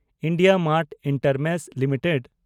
India Mart Intermesh limited